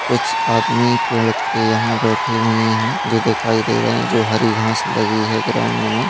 कुछ आदमी पेड़ के यहाँ बैठे हुए है जो दिखाई दे रहे है जो हरी घास लगी है ग्राउंड मे --